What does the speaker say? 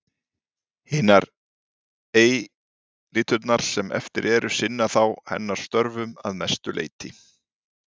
Hinar eitlurnar sem eftir eru sinna þá hennar störfum að mestu leyti.